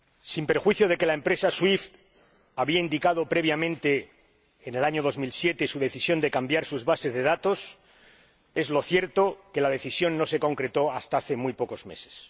Sin perjuicio de que la empresa SWIFT había indicado previamente, en el año 2007, su decisión de cambiar sus bases de datos, es cierto que la decisión no se concretó hasta hace muy pocos meses.